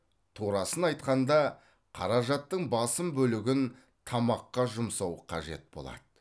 турасын айтқанда қаражаттың басым бөлігін тамаққа жұмсау қажет болады